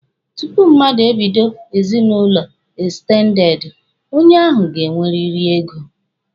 Tupu mmadụ e bido ezinụlọ ekstendede, onye ahụ ga-enweriri ego.